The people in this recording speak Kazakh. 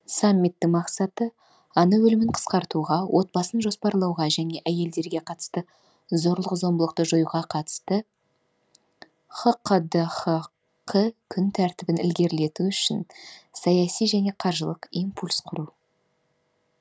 саммиттің мақсаты ана өлімін қысқартуға отбасын жоспарлауға және әйелдерге қатысты зорлық зомбылықты жоюға қатысты хқдхк күн тәртібін ілгерілету үшін саяси және қаржылық импульс құру